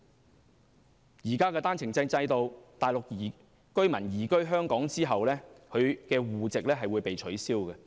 在現時的單程證制度下，內地居民移居香港後會被取消中國戶籍。